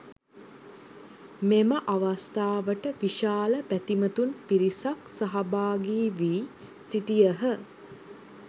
මෙම අවස්ථාවට විශාල බැතිමතුන් පිරිසක් සහභාගී වී සිටියහ.